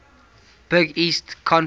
big east conference